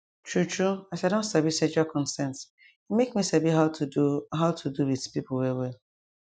true true as i don sabi sexual consent e make me sabi how to do how to do with people well well